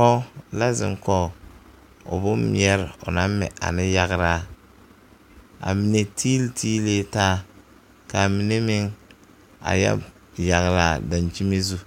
Pɔge la zeŋ kɔge o boŋ meɛre o naŋ mɛ ane yagraa a mɛ tiili tiililee taa ka a mine meŋ a yɔ yagle a dakyimi zu